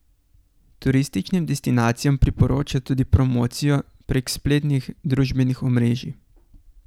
Turističnim destinacijam priporoča tudi promocijo prek spletnih družbenih omrežij.